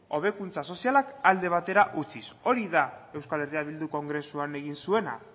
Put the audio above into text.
hobekuntza sozialak alde batera utziz hori da euskal herria bildu kongresuan egin zuena